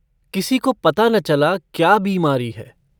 किसी को पता न चला क्या बीमारी है।